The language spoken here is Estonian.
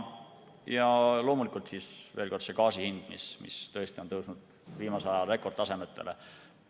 Loomulikult, veel kord, gaasi hind, mis tõesti on tõusnud viimase aja rekordtasemele.